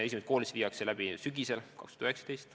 Esimesed koolitused viiakse läbi sel sügisel.